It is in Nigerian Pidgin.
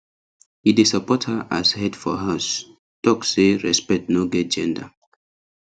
he dey support her as head for house talk say respect no get gender